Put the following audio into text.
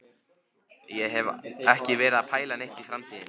Ég hef ekki verið að pæla neitt í framtíðinni.